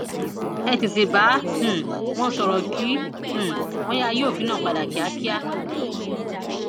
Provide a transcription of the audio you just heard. ẹ tètè bá um wọn sọrọ o kí um wọn yáa yí òfin náà padà kíákíá